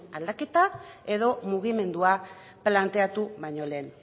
aldaketa edo mugimendua planteatu baino lehen